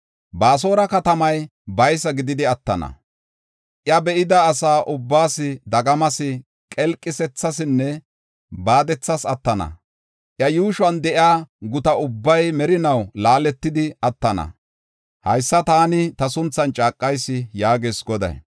Baasora katamay baysa gididi attana; iya be7ida asa ubbaas dagamas, qelqisethasinne baadethas attana. Iya yuushuwan de7iya guta ubbay merinaw laaletidi attana. Haysa taani ta sunthan caaqayis” yaagees Goday.